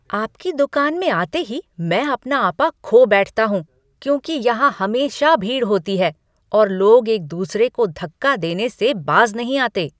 आपकी दुकान में आते ही मैं अपना आपा खो बैठता हूँ क्योंकि यहां हमेशा भीड़ होती है और लोग एक दूसरे को धक्का देने से बाज़ नहीं आते।